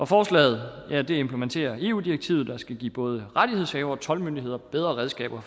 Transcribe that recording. forslaget implementerer eu direktivet der skal give både rettighedshavere og toldmyndigheder bedre redskaber